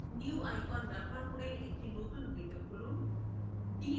new icon ব্যবহার করে একটি নতুন window খুলুন